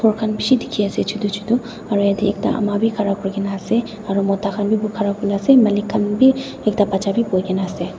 kan bishi diki ase chutu chutu aro yete ekta ama b ghara kuri kina ase aro mota kan b ghara kurina ase malik kan b ekta bacha b bui kina ase.